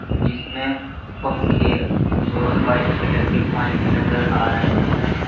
जिसमें पंखे और वाइट कलर के पाइप नजर आ रहे हैं।